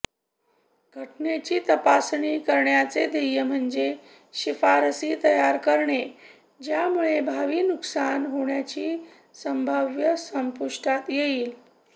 घटनेची तपासणी करण्याचे ध्येय म्हणजे शिफारसी तयार करणे ज्यामुळे भावी नुकसान होण्याची संभाव्यता संपुष्टात येईल